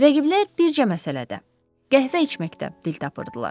Rəqiblər bircə məsələdə, qəhvə içməkdə dil tapırdılar.